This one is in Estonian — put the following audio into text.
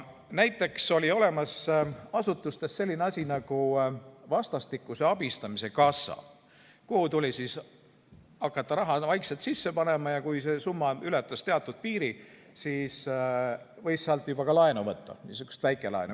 Näiteks oli asutustes olemas selline asi nagu vastastikuse abistamise kassa, kuhu tuli hakata raha vaikselt sisse panema ja kui see summa ületas teatud piiri, siis võis sealt juba ka laenu võtta, niisugust väikelaenu.